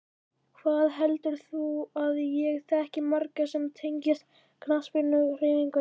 Hvað heldur þú að ég þekki marga sem tengjast knattspyrnuhreyfingunni?